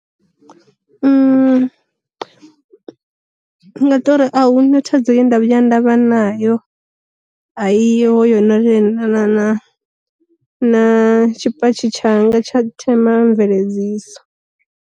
Ndi nga tori a hu na thaidzo ye nda vhuya nda vha nayo, a i ho yo no lingana na na tshi patshi tsha nga tsha themamveledziso.